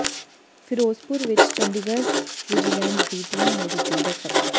ਫ਼ਿਰੋਜ਼ਪੁਰ ਵਿੱਚ ਚੰਡੀਗੜ ਵਿਜੀਲੈਂਸ ਦੀ ਟੀਮ ਨੇ ਦਿੱਤੀ ਦਸਤਕ